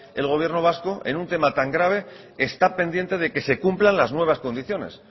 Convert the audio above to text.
el gobierno vasco en un tema tan grave está pendiente de que se cumplan las nuevas condiciones